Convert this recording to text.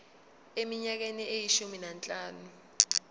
eminyakeni eyishumi nanhlanu